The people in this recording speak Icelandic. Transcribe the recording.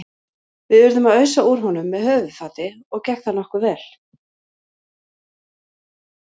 Við urðum að ausa úr honum með höfuðfati og gekk það nokkuð vel.